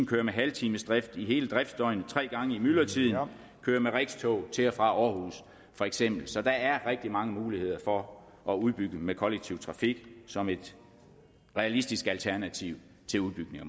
køre med halvtimesdrift i hele driftdøgnet tre gange i myldretiden køre med rex tog til og fra aarhus for eksempel så der er rigtig mange muligheder for at udbygge med kollektiv trafik som et realistisk alternativ til udbygning